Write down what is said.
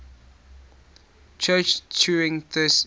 church turing thesis